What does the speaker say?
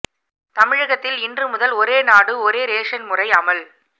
தமிழகத்தில் இன்று முதல் ஒரே நாடு ஒரே ரேஷன் முறை அமல்